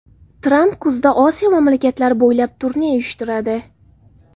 Tramp kuzda Osiyo mamlakatlari bo‘ylab turne uyushtiradi.